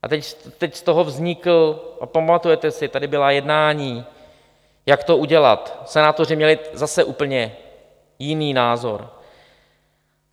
A teď z toho vznikl - a pamatujete si, tady byla jednání, jak to udělat, senátoři měli zase úplně jiný názor.